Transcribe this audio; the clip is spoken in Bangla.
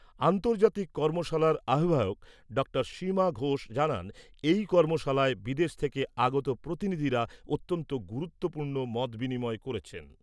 আন্তর্জাতিক কর্মশালার আহ্বায়ক ডাঃ সীমা ঘোষ জানান, এই কর্মশালায় বিদেশ থেকে আগত প্রতিনিধিরা অত্যন্ত গুরুত্বপূর্ণ মত বিনিময় করেছেন।